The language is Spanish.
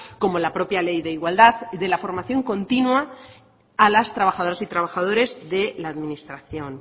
como la propia ley de igualdad de la formación continua a las trabajadoras y trabajadores de la administración